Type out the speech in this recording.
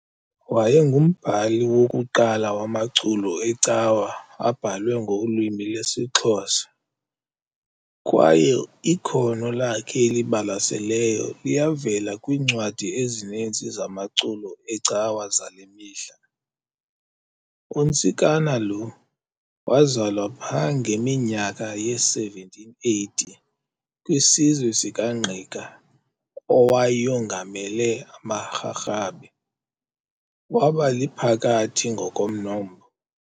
Wayekwangumbhali wokuqala wamaculo ecawa abhalwe ngolwimi lwesiXhosa, kwaye iinno lakhe elibalaseleyo liyavela kwiincwadi ezininzi zamaculo ecawa zale mihla. UNtsikana lo wazalwa pha ngeminyaka ye-1780, kwisizwe sikaNgqika owayongamele amaRharhabe, wabaliphakathi ngokomnombo.